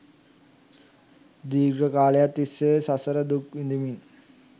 දීර්ඝ කාලයක් තිස්සේ සසර දුක් විඳිමින්